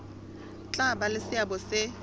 tla ba le seabo se